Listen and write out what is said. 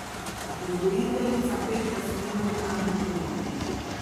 Vzgojiteljica Petra se ni mogla načuditi.